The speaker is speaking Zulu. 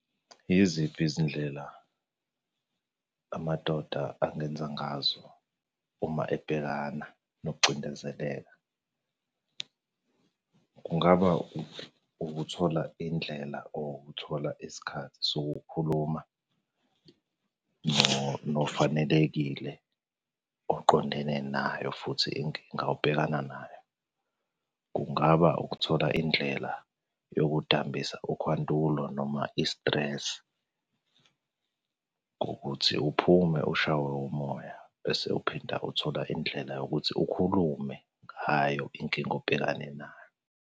Yiziphi izindlela amadoda angenza ngazo uma ebhekana nokucindezeleka? Kungaba ukuthola indlela or ukuthola isikhathi sokukhuluma nofanelekile, oqondene nayo futhi inkinga obhekana nayo. Kungaba ukuthola indlela yokudambisa ukhwantulo noma i-stress, ngokuthi uphume ushaywe umoya, bese uphinde uthola indlela yokuthi ukhulume ngayo inkinga obhekane nayo.